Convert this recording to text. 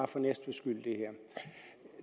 for næstveds skyld